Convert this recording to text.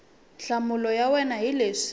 nhlamulo ya wena hi leswi